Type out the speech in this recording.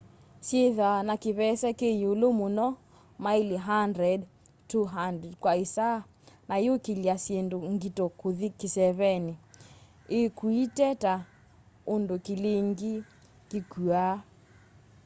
syithwaa na kivese ki iulu muno maili 100-200 kwa isaa na iyukilya syindu ngito kuthi kiseeveni ikuitwe ta undu kilingi kikuaa